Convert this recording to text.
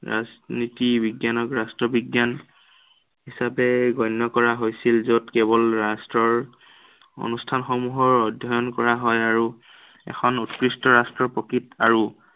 ৰাজনীতি বিজ্ঞানক ৰাষ্ট্ৰ বিজ্ঞান হিচাপে গণ্য় কৰা হৈছিল, য'ত কেৱল ৰাষ্ট্ৰৰ অনুষ্ঠানসমূহৰ অধ্য়য়ণ কৰা হয় আৰু, এখন উৎকৃষ্ট ৰাষ্ট্ৰৰ প্ৰকৃত